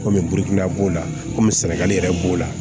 Kɔmi birikida b'o la kɔmi sɛnɛgali yɛrɛ b'o la